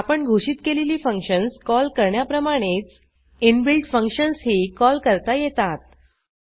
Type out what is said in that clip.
आपण घोषित केलेली फंक्शन्स कॉल करण्याप्रमाणेच इनबिल्ट फंक्शन्सही कॉल करता येतात